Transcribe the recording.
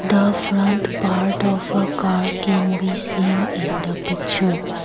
the front part of a car can we seen in the picture.